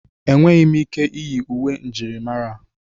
Enweghị m ike iyi uwe njirimara a.